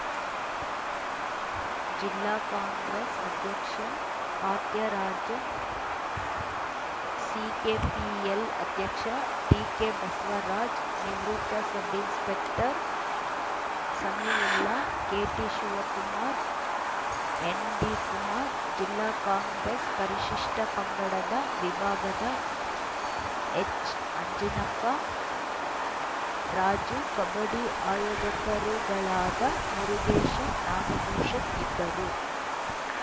ಜಿಲ್ಲಾ ಕಾಂಗ್ರೆಸ್‌ ಅಧ್ಯಕ್ಷ ಫಾತ್ಯರಾಜನ್‌ ಸಿಕೆಪಿಎಲ್‌ ಅಧ್ಯಕ್ಷ ಟಿಕೆಬಸವರಾಜ್‌ ನಿವೃತ್ತ ಸಬ್‌ಇನ್ಸ್‌ಪೆಕ್ಟರ್‌ ಸಮೀವುಲ್ಲಾ ಕೆಟಿಶಿವಕುಮಾರ್‌ ಎನ್‌ಡಿಕುಮಾರ್‌ ಜಿಲ್ಲಾ ಕಾಂಗ್ರೆಸ್‌ ಪರಿಶಿಷ್ಟಪಂಗಡದ ವಿಭಾಗದ ಎಚ್‌ಅಂಜಿನಪ್ಪ ರಾಜು ಕಬಡ್ಡಿ ಆಯೋಜಕರುಗಳಾದ ಮುರುಗೇಶ್‌ ನಾಗಭೂಷಣ್‌ ಇದ್ದರು